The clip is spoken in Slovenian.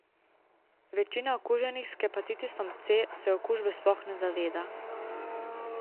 Večina okuženih s hepatitisom C se okužbe sploh ne zaveda.